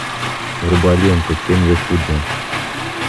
врубай ленту тень якудза